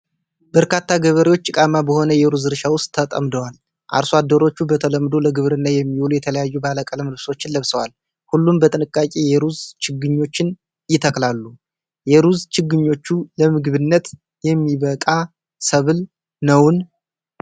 በርካታ ገበሬዎች ጭቃማ በሆነ የሩዝ እርሻ ውስጥ ተጠምደዋል። አርሶ አደሮቹ በተለምዶ ለግብርና የሚውሉ የተለያዩ ባለቀለም ልብሶችን ለብሰዋል። ሁሉም በጥንቃቄ የሩዝ ችግኞችን ይተክላሉ። የሩዝ ችግኞቹ ለምግብነት የሚበቃ ሰብል ነውን?